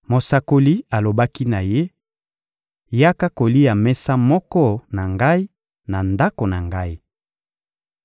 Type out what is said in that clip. Mosakoli alobaki na ye: — Yaka kolia mesa moko na ngai, na ndako na ngai.